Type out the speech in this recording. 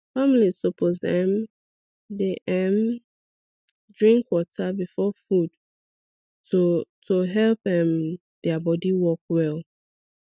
families suppose um dey um drink water before food to to help um their body work well